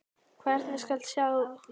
Hvernig skal skrá sjálfsmörk?